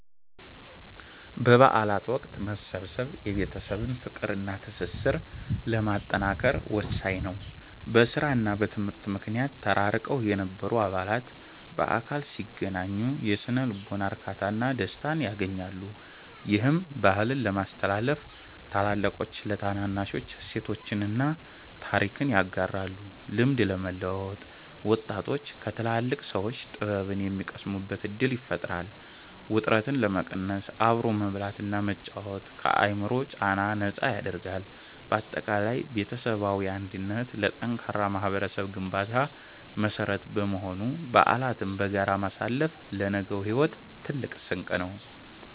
በበዓል ወቅት መሰብሰብ የቤተሰብን ፍቅርና ትስስር ለማጠናከር ወሳኝ ነው። በሥራና በትምህርት ምክንያት ተራርቀው የነበሩ አባላት በአካል ሲገናኙ የሥነ-ልቦና እርካታና ደስታን ያገኛሉ። ይህም፦ -ባህልን ለማስተላለፍ፦ ታላላቆች ለታናናሾች እሴቶችንና ታሪክን ያጋራሉ። -ልምድ ለመለዋወጥ፦ ወጣቶች ከትላልቅ ሰዎች ጥበብን የሚቀስሙበት ዕድል ይፈጥራል። -ውጥረትን ለመቀነስ፦ አብሮ መብላትና መጫወት ከአእምሮ ጫና ነፃ ያደርጋል። ባጠቃላይ ቤተሰባዊ አንድነት ለጠንካራ ማኅበረሰብ ግንባታ መሠረት በመሆኑ፣ በዓላትን በጋራ ማሳለፍ ለነገው ሕይወት ትልቅ ስንቅ ነው።